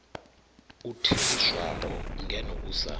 u theliswaho ngeno u sa